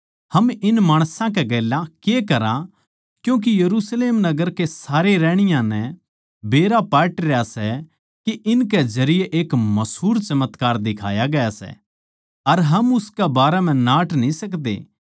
हम इन माणसां कै गेल्या के करा क्यूँके यरुशलेम नगर के सारे रहणीया नै बेरा पाटरया सै के इनकै जरिये एक मसूर चमत्कार दिखाया गया सै अर हम उसकै बारै म्ह नाट न्ही सकदे